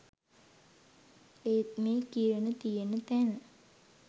ඒත් මේ කිරණ තියෙන තැන